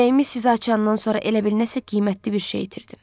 Ürəyimi sizə açandan sonra elə bil nəsə qiymətli bir şey itirdim.